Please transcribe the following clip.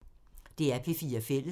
DR P4 Fælles